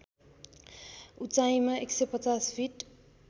उचाइमा १५० फिट